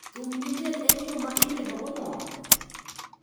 Thum gi miel en yo ma imedogo mor.